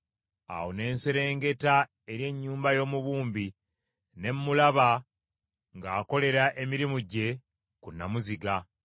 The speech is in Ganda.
Awo ne nserengeta eri ennyumba y’omubumbi ne mmulaba ng’akolera emirimu gye ku nnamuziga.